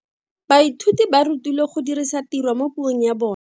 Baithuti ba rutilwe go dirisa tirwa mo puong ya bone.